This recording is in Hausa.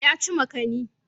Ya ci makani.